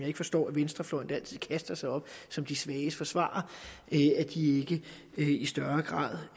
ikke forstå at venstrefløjen som altid kaster sig op som de svages forsvarere ikke i i større grad